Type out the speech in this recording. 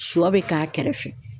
Sɔ bɛ k'a kɛrɛfɛ.